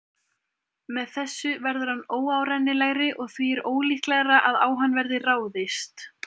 Með þessu verður hann óárennilegri og því er ólíklegra að á hann verði ráðist.